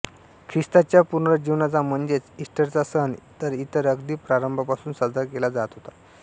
ख्रिस्ताच्या पुनरुज्जीवनाचा म्हणजेच ईस्टरचा सण तर अगदी प्रारंभापासून साजरा केला जात होता